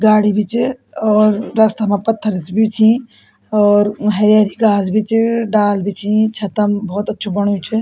गाड़ी भी च और रस्ता मा पत्थर भी छी और हेरी हेरी घास ही च डाल भी च छतम भोत अच्छू बण्यु च।